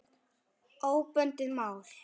Óbundið mál